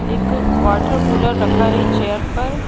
एक वाटरकूलर रखा हैचेयर पर--